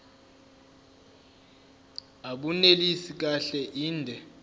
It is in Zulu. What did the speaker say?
abunelisi kahle inde